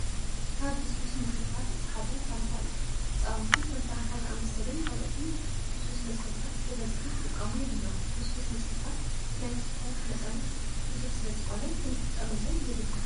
ካብ ልስሉስ መስተታት እቲ ሓደ ፋንታ እዩ። ህፃውንቲ ከም ፋንታ ዝኣመሰሉን ካልኦትን ልስሉስ መስተታት ብበዝሒ ክጥቀሙ የብሎምን። ልስሉስ መስተታት ናይ ስካር መጠኖም ብዙሕ ስለ ዝኾነ ክንጥቀመሎም የብልናን።